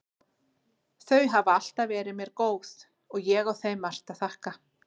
Þau hafa alltaf verið mér góð og ég á þeim margt að þakka.